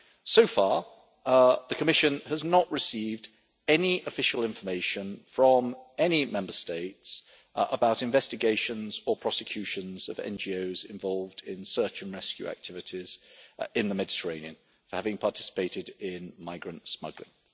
So far the Commission has not received any official information from any Member States about investigations or prosecutions of NGOs involved in search and rescue activities in the Mediterranean for having participated in migrant smuggling.